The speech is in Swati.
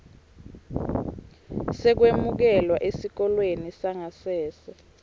sekwemukelwa esikolweni sangasese